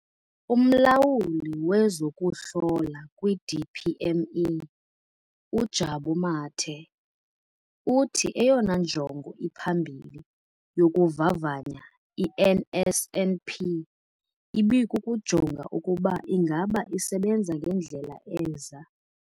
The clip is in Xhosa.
UMlawuli wezokuHlola kwi-DPME, uJabu Mathe, uthi eyona njongo iphambili yokuvavanya i-NSNP ibikukujonga ukuba ingaba isebenza ngendlela eza-